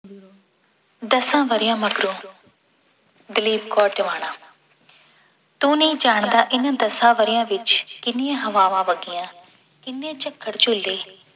ਦਸਾਂ ਵਰ੍ਹਿਆਂ ਮਗਰੋਂ ਦਲੀਪ ਕੌਰ ਟਿਵਾਣਾ ਤੂੰ ਨਹੀਂ ਜਾਣਦਾ ਇਹਨਾਂ ਦਸਾਂ ਵਰ੍ਹਿਆਂ ਵਿੱਚ ਕਿੰਨੀਆਂ ਹਵਾਵਾਂ ਵਗੀਆ ਕਿੰਨੇ ਝੱਖੜ ਝੂਲੇ